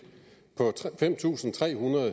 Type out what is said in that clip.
på fem tusind tre hundrede